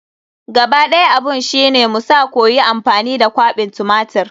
Gaba ɗaya abun shi ne mu sa koyi amfani da kwaɓin tumatir.